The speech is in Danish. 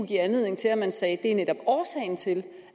give anledning til at man sagde at det netop er årsagen til